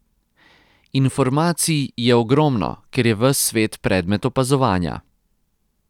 Informacij je ogromno, ker je ves svet predmet opazovanja.